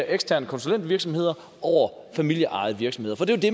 eksterne konsulentvirksomheder over familieejede virksomheder det